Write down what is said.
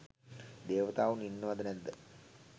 දේවතාවුන් ඉන්නවා ද නැද්ද